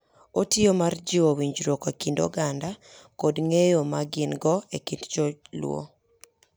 Otiyo mar jiwo winjruok e kind oganda kod ng’eyo ma gin-go e kind Jo-Luo.